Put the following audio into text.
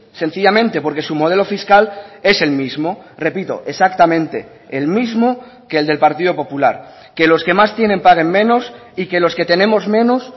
sencillamente porque su modelo fiscal es el mismo repito exactamente el mismo que el del partido popular que los que más tienen paguen menos y que los que tenemos menos